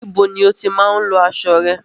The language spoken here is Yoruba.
Ibo ni o tí máa ń lọ aṣo rẹ?